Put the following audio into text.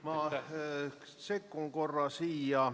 Ma sekkun korra.